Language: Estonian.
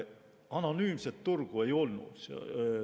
Anonüümset turgu ei olnud.